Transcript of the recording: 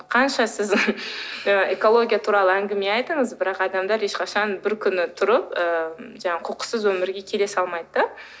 қанша сіз экология туралы әңгіме айтыңыз бірақ адамдар ешқашан бір күні тұрып ыыы жаңағы қоқыссыз өмірге келе салмайды да